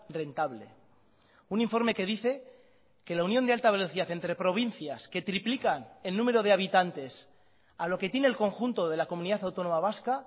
rentable un informe que dice que la unión de alta velocidad entre provincias que triplican el número de habitantes a lo que tiene el conjunto de la comunidad autónoma vasca